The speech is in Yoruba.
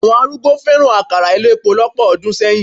Àwọn arúgbó fẹ́ràn àkàrà elépo lọ́pọ̀ ọdún sẹ́yìn.